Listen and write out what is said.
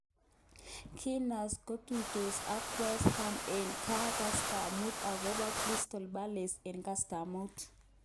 Gunners kotutos akWest Ham eng ga kasta mut akoba crystal palece eng kasta somok.